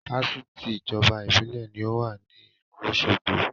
Fáṣítì ìjọba Ìbílẹ̀ ní ó wà ní ìlú òsogbo